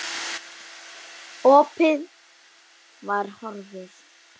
Opið var horfið.